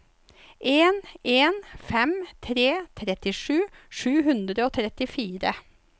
en en fem tre trettisju sju hundre og trettifire